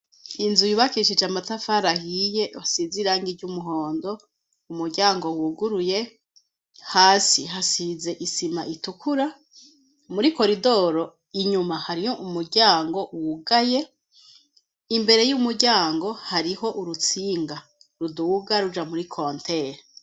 Inzu yibakishije amatafara ahiye isize irangi ry'umuhondo .Umuryango wuguruye hasi hasize isima itukura muri coridoro inyuma hariho umuryango wugaye imbere y'umuryango hariho urutsinga rudubuga ruja muri kontere.